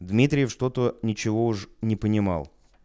дмитрий что-то ничего уж не понимал